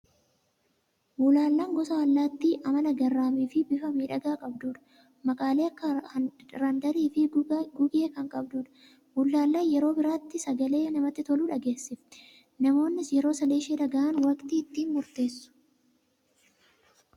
Bullaallaan gosa allaatti amala garraamii fi bifa miidhagaa qabdudha! Maqaalee akka randarii fi gugee kan qabdudha. Bullaallaan yeroo birraatti sagalee namatti tolu dhageessifti. Namoonnis yeroo sagalee ishee dhagahan waqtii ittiin murteessu!